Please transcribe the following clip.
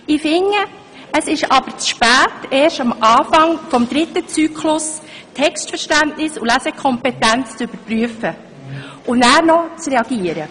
Ich finde aber, es ist zu spät, erst am Anfang des dritten Zyklus Textverständnis und Lesekompetenz zu überprüfen und zu reagieren.